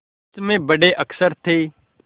कुछ में बड़े अक्षर थे